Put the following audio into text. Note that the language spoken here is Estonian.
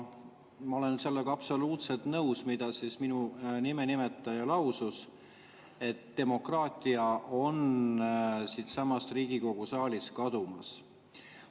Ma olen sellega absoluutselt nõus, mida minu nime nimetaja lausus, et demokraatia on siitsamast Riigikogu saalist kadumas.